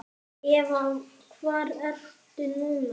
Eva: Hvar ertu núna?